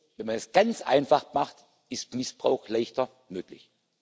Wenn man es ganz einfach macht, ist Missbrauch leichter möglich.